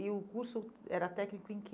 E o curso era técnico em que?